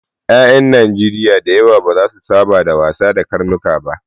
Ƴaƴan Najeriya da yawa ba za su saba da wasa da karnuka ba.